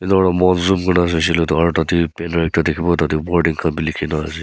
enya aurna zoom kuri saishe ole toh aro tate banner ekta dikhiwo aro tate wording khan bi likhi na ase.